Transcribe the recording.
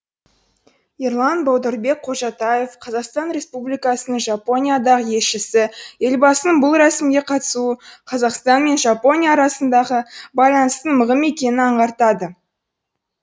ерлан баударбек қожатаев қазақстан республикасының жапониядағы елшісі елбасының бұл рәсімге қатысуы қазақстан мен жапония арасындағы байланыстың мығым екенін аңғартады